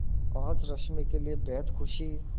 आज रश्मि के लिए बेहद खुशी